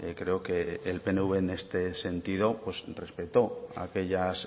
creo que el pnv en este sentido respetó aquellas